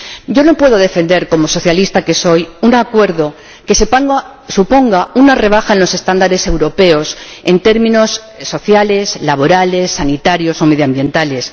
Yo no puedo defender, como socialista que soy, un acuerdo que suponga una rebaja en los estándares europeos en términos sociales, laborales, sanitarios o medioambientales.